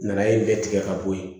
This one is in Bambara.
Nanaye nin bɛɛ tigɛ ka bɔ yen